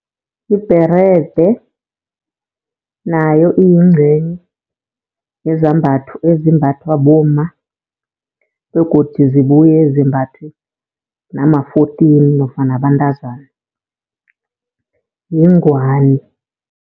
Ibherede nayo iyincenye yezambhatho ezimbathwa bomma begodu zibuye zimbathwe nama-fourteen nofana abantazana, yingwani.